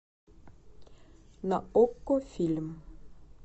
на окко фильм